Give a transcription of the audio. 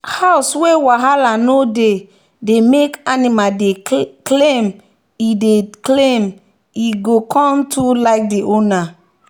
house wey wahala no dey dey make animal dey calmand e dey calmand e go come too like the owner.